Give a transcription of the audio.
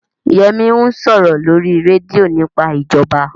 Yẹmí ń sọ̀rọ̀ lórí rédíò nípa ìjọba